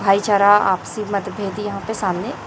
भाई चारा आपसी मत भेदी यहां पे सामने--